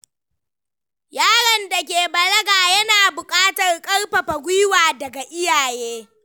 Yaron da ke balaga yana buƙatar ƙarfafa gwiwa daga iyaye.